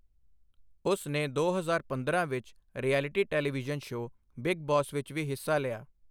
ਉਸ ਨੇ ਦੋ ਹਜ਼ਾਰ ਪੰਦਰਾਂ ਵਿੱਚ reality television show Bigg Boss ਵਿੱਚ ਵੀ ਹਿੱਸਾ ਲਿਆ।